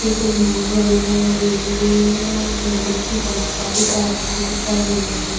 पे कोई बोर्ड वगैरा लगे हुए है और बिजली की बहुत सारी तारे भी दिखाई दे रही।